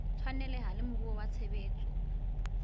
tshwaneleha le moruo wa tshebetso